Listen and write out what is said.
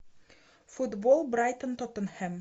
футбол брайтон тоттенхэм